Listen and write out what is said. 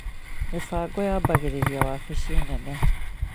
Mĩbango yambagĩrĩria wabici nene